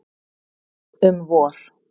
Um vor.